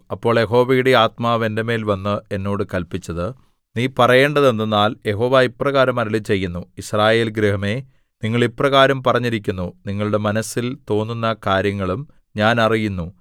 അപ്പോൾ യഹോവയുടെ ആത്മാവ് എന്റെ മേൽ വന്ന് എന്നോട് കല്പിച്ചത് നീ പറയേണ്ടത് എന്തെന്നാൽ യഹോവ ഇപ്രകാരം അരുളിച്ചെയ്യുന്നു യിസ്രായേൽ ഗൃഹമേ നിങ്ങൾ ഇപ്രകാരം പറഞ്ഞിരിക്കുന്നു നിങ്ങളുടെ മനസ്സിൽ തോന്നുന്ന കാര്യങ്ങളും ഞാൻ അറിയുന്നു